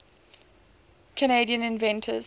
canadian inventors